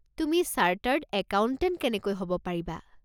তুমি chartered accountant কেনেকৈ হ'ব পাৰিবা?